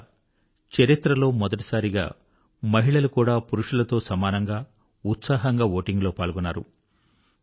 బహుశా చరిత్రలో మొదటిసారిగా మహిళలు కూడా పురుషుల తో సమానంగా ఉత్సాహంగా ఓటింగ్ లో పాల్గొన్నారు